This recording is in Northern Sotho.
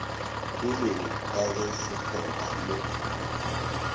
peleng ka ge sekgoba mo